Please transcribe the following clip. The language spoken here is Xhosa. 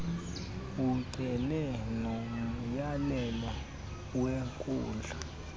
ucele nomyalelo wenkundla